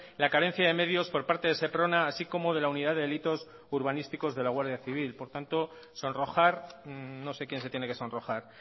la carencia de medios por parte de seprona así como de la unidad de delitos urbanísticos de la guardia civil por tanto sonrojar no sé quien se tiene que sonrojar